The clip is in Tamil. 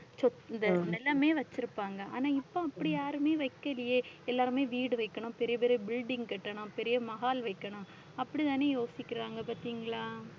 இந்த எல்லாமே வச்சிருப்பாங்க. ஆனா இப்ப அப்படி யாருமே வெக்கலையே எல்லாருமே வீடு வைக்கணும் பெரிய பெரிய building கட்டணும் பெரிய mahal வைக்கணும் அப்படித்தானே யோசிக்கிறாங்க பார்த்தீங்களா?